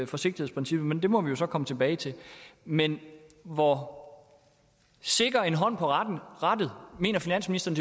forsigtighedsprincippet men det må vi jo så komme tilbage til men hvor sikker en hånd på rattet mener finansministeren